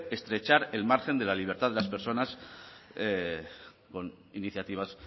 estrechar el margen de la libertad de las personas con iniciativas